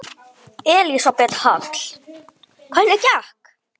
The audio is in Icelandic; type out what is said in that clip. Elísabet Hall: Hvernig gekk?